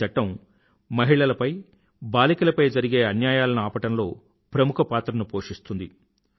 ఈ చట్టం మహిళలపై బాలికలపై జరిగే అన్యాయాలను ఆపడంలో ప్రముఖ పాత్రను పోషిస్తుంది